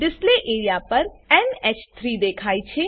display area પર એનએચ3 દેખાય છે